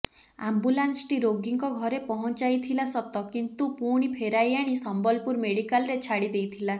ଆମ୍ବୁଲାନ୍ସଟି ରୋଗୀଙ୍କ ଘରେ ପହଞ୍ଚାଇଥିଲା ସତ କିନ୍ତୁ ପୁଣି ଫେରାଇ ଆଣି ସମ୍ବଲପୁର ମେଡିକାଲରେ ଛାଡ଼ି ଦେଇଥିଲା